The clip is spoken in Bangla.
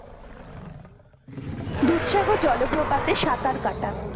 দুধসাগর জলপ্রপাতে সাঁতার কাটা।